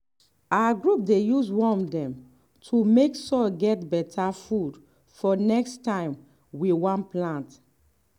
our group dey use worm dem to make soil get better food for next time we wan plant.